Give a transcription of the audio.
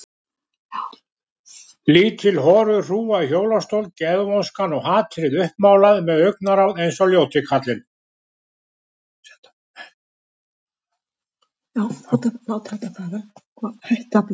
Lítil horuð hrúga í hjólastól, geðvonskan og hatrið uppmálað með augnaráð eins og ljóti kallinn.